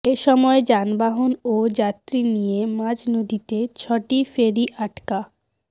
এ সময় যানবাহন ও যাত্রী নিয়ে মাঝনদীতে ছয়টি ফেরি আটকা